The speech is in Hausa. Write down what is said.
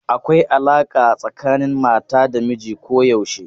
Akwai alaƙa tsakanin mata da miji koyaushe.